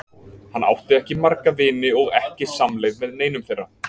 Hann átti ekki marga vini og ekki samleið með neinum þeirra.